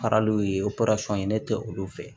Faraliw ye ne tɛ olu fɛ